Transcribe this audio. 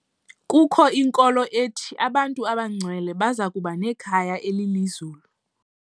Kukho inkolo ethi abantu abangcwele baza kuba nekhaya elilizulu.